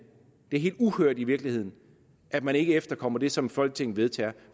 helt uhørt i virkeligheden at man ikke efterkommer det som folketinget vedtager